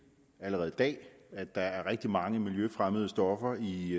allerede i dag at der er rigtig mange miljøfremmede stoffer i